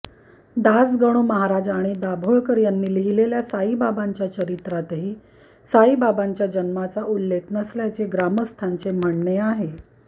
दासगणू महाराज आणि दाभोळकर यांनी लिहिलेल्या साईबाबांच्या चरित्रातही साईबाबांच्या जन्माचा उल्लेख नसल्याचे ग्रामंस्थाचे म्हणणे आहे